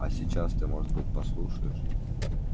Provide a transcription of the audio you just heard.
а сейчас ты может быть послушаешь